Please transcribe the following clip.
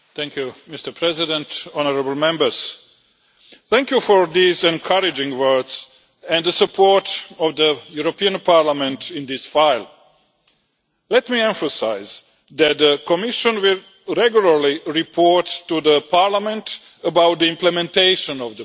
Mr President, Honourable Members, thank you for these encouraging words and the support of the European Parliament in this file. Let me emphasise that the Commission will really regularly report to Parliament about the implementation of the plan.